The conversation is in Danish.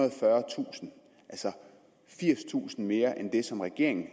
og fyrretusind altså firstusind mere end det som regeringen